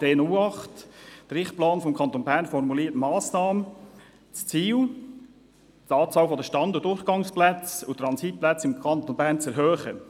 Der «Richtplan Kanton Bern 2030» formuliert im Massnahmenblatt D_08 das Ziel, die Anzahl der Stand-, Durchgangs- und Transitplätze im Kanton Bern sei zu erhöhen.